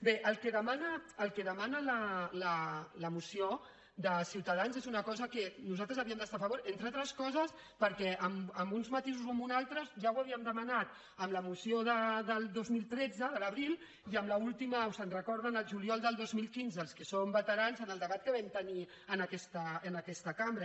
bé el que demana la moció de ciutadans és una cosa amb què nosaltres havíem d’estar a favor entre altres coses perquè amb uns matisos o amb uns altres ja ho havíem demanat amb la moció del dos mil tretze de l’abril i amb l’última se’n recorden el juliol del dos mil quinze els que són veterans en el debat que vam tenir en aquesta cambra